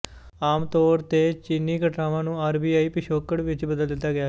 ਆਮਤੋਰ ਤੇ ਚੀਨੀ ਘਟਨਾਵਾਂ ਨੂੰ ਆਰਬੀਆਈ ਪਿਛੋਕੜ ਵਿੱਚ ਬਦਲ ਦਿਤਾ ਗਿਆ ਹੈ